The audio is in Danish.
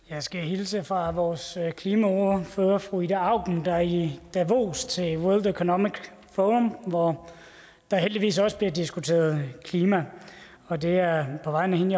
jeg skal hilse fra vores klimaordfører fru ida auken der er i davos til world economic forum hvor der heldigvis også bliver diskuteret klima og det er på vegne af hende